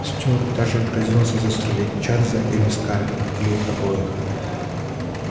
стюарт даже грозился застрелить чарльза или скарлетт или обоих